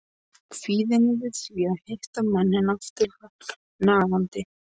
Kvíðinn yfir því að hitta manninn aftur var nagandi.